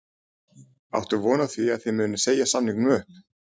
Áttu von á því að þið munið segja samningunum upp?